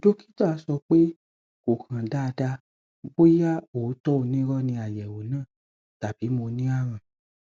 dọkítà sọ pé kò hàn dáadáa bóyá òótọ onírọ ni àyẹwò náà tàbí mo ní àrùn